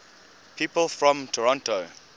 people from toronto